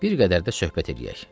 Bir qədər də söhbət eləyək.